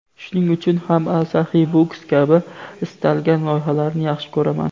Shuning uchun ham Asaxiy Books kabi istalgan loyihalarni yaxshi ko‘raman.